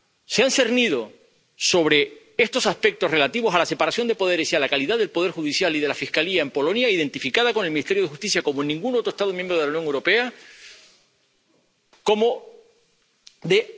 Se han cernido sobre estos aspectos relativos a la separación de poderes y a la calidad del poder judicial y de la Fiscalía en Polonia —identificada con el Ministerio de Justicia como en ningún otro Estado miembro de la Unión Europea— como de...